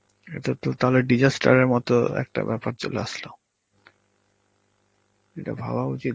এটা তো তাহলে disaster এর মতন একটা ব্যাপার চলে আসলো. এটা ভাবা উচিত